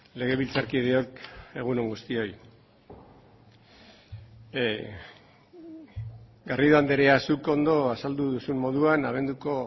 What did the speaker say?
legebiltzarkideok egun on guztioi garrido andrea zuk ondo azaldu duzun moduan abenduko